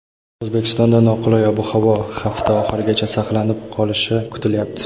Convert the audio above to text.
O‘zbekistonda noqulay ob-havo hafta oxirigacha saqlanib qolishi kutilyapti.